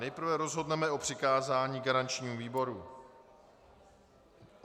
Nejprve rozhodneme o přikázání garančnímu výboru.